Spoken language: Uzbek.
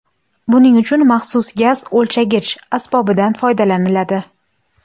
Buning uchun maxsus gaz o‘lchagich asbobidan foydalaniladi.